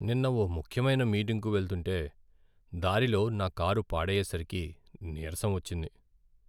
నిన్న ఓ ముఖ్యమైన మీటింగ్కు వెళ్తుంటే దారిలో నా కారు పాడయ్యేసరికి నీరసం వచ్చింది.